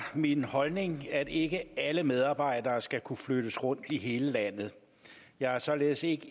min holdning at ikke alle medarbejdere skal kunne flyttes rundt i hele landet jeg er således ikke